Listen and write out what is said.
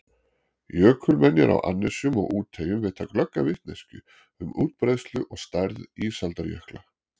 Jökulmenjar á annesjum og úteyjum veita glögga vitneskju um útbreiðslu og stærð ísaldarjökla.